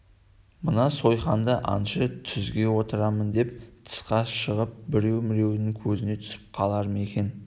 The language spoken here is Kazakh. мына сойқанды аңшы түзге отырамын деп тысқа шығып біреу-міреудің көзіне түсіп қалар ма екен